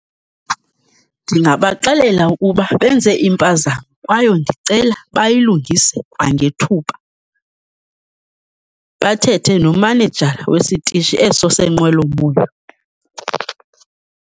Ndingabaxelela ukuba benze impazamo kwaye ndicela bayilungise kwangethuba, bathethe nomanejala wesitishi eso seenqwelomoya.